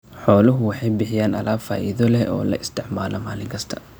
Xooluhu waxay bixiyaan alaab faa'iido leh oo la isticmaalo maalin kasta.